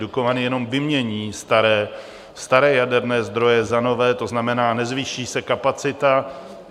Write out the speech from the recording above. Dukovany jenom vymění staré jaderné zdroje za nové, to znamená, nezvýší se kapacita.